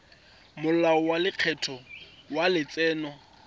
molao wa lekgetho wa letseno